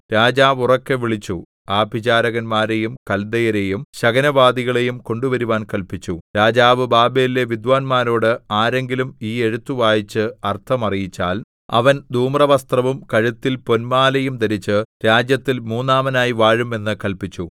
രാജാവ് ഉറക്കെ വിളിച്ചു ആഭിചാരകന്മാരെയും കല്ദയരെയും ശകുനവാദികളെയും കൊണ്ടുവരുവാൻ കല്പിച്ചു രാജാവ് ബാബേലിലെ വിദ്വാന്മാരോട് ആരെങ്കിലും ഈ എഴുത്ത് വായിച്ച് അർത്ഥം അറിയിച്ചാൽ അവൻ ധൂമ്രവസ്ത്രവും കഴുത്തിൽ പൊൻമാലയും ധരിച്ച് രാജ്യത്തിൽ മൂന്നാമനായി വാഴും എന്ന് കല്പിച്ചു